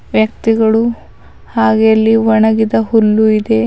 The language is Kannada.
ವ್ಯಕ್ತಿಗಳು ಹಾಗೆ ಇಲ್ಲಿ ಒಣಗಿದ ಹುಲ್ಲು ಇದೆ.